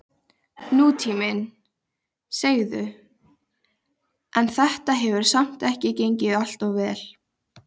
Ilmur, hringdu í Hermanníus.